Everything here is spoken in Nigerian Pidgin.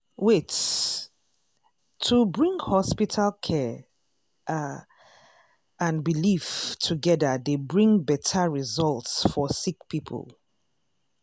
wait- to bring hospital care ah and belief togeda dey bring beta result for sick poeple.